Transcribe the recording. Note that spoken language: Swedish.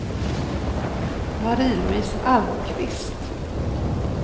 Marie-Louise Almqvist